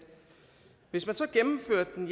hvis man så gennemførte den